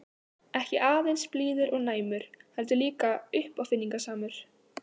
Ekki aðeins blíður og næmur- heldur líka uppáfinningasamur.